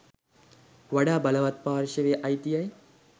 වඩා බලවත් පාර්ශවයේ අයිතියයි.